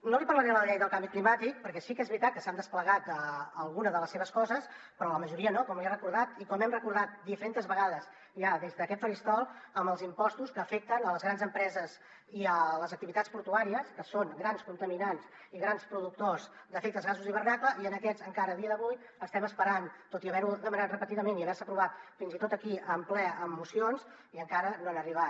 no li parlaré de la llei del canvi climàtic perquè sí que és veritat que s’ha desplegat alguna de les seves coses però la majoria no com li he recordat i com hem recordat diferentes vegades ja des d’aquest faristol amb els impostos que afecten les grans empreses i les activitats portuàries que són grans contaminants i grans productors d’efectes de gasos d’hivernacle i a aquests encara a dia d’avui estem esperant tot i haver ho demanat repetidament i haver se aprovat fins i tot aquí en ple amb mocions i encara no han arribat